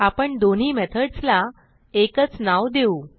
आपण दोन्ही मेथडसला एकच नाव देऊ